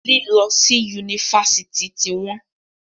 Lílọ́ si Yunifásitì tí wọ́n..